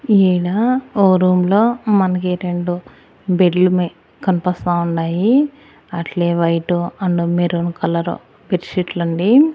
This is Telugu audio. ఈయన ఓ రూంలో మనకి రెండు బెర్ల్ మే కనిపస్తా ఉండాయి అట్లే వైట్ అండ్ మెరూన్ కలర్ బెర్ షీట్లండి .